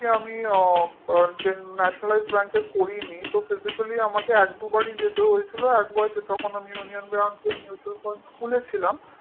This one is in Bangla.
আমি কখনোই মানে যেহেতু nationalized bank করিনি তো physically আমাকে এক দুবারই আমাকে যেতে হয়েছিল তখন আমি union bank এ mutual fund খুলেছিলাম